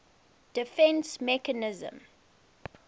defence mechanism